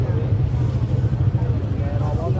Hara gedirsən, qardaş?